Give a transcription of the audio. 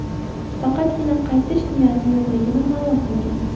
Faqatgina qaytish niyati yo‘qligini ma’lum qilgan.